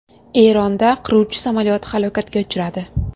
Eronda qiruvchi samolyot halokatga uchradi.